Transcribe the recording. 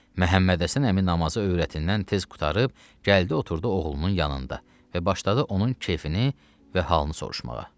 Məhəmməd Həsən əmi namazı övrətindən tez qurtarıb gəldi oturdu oğlunun yanında və başladı onun keyfini və halını soruşmağa.